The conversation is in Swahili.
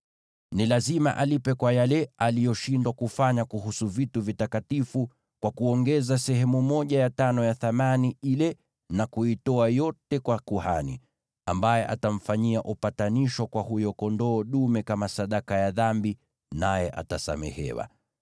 Ni lazima alipe kwa yale aliyoshindwa kufanya kuhusu vitu vitakatifu, kwa kuongeza sehemu ya tano ya thamani ile na kuitoa yote kwa kuhani, ambaye atamfanyia upatanisho kwa huyo kondoo dume kama sadaka ya dhambi, naye atasamehewa.